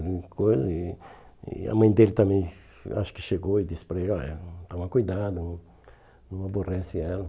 e E a mãe dele também, acho que chegou e disse para ele, olha, toma cuidado, não não aborrece ela.